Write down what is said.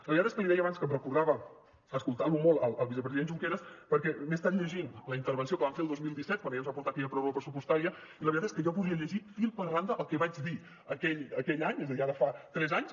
la veritat és que li deia abans que em recordava escoltant lo molt el vicepresident junqueras perquè m’he estat llegint la intervenció que van fer el dos mil disset quan ell ens va portar aquella pròrroga pressupostària i la veritat és que jo podria llegir fil per randa el que vaig dir aquell any és a dir ara fa tres anys